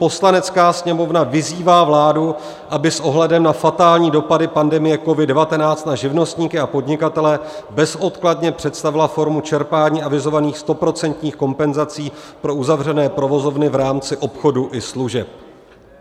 "Poslanecká sněmovna vyzývá vládu, aby s ohledem na fatální dopady pandemie COVID-19 na živnostníky a podnikatele bezodkladně představila formu čerpání avizovaných stoprocentních kompenzací pro uzavřené provozovny v rámci obchodu i služeb."